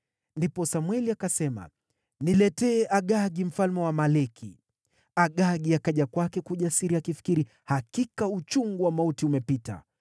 Ndipo Samweli akasema, “Niletee Agagi mfalme wa Waamaleki.” Agagi akaja kwake kwa ujasiri, akifikiri, “Hakika uchungu wa mauti umepita.”